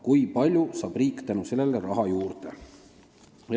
Kui palju saab riik tänu sellele raha juurde?